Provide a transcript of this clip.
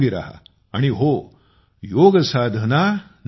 आणि हो योगसाधना नक्की करा